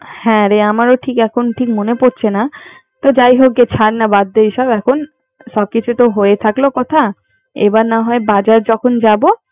হ্যারে আমারও ঠিক এখন ঠিক মনে পরছে না। তো যাই হোক। ছার না এবার বাদ দে সব এখন। সব কিছু তো হয়ে থাকলো কথা এবার না হয় বাজার যখন যাবো